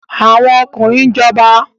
Àwọn ọkùnrin ń jọba